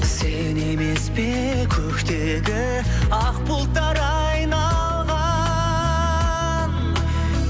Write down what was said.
сен емес пе көктегі ақ бұлттар айналған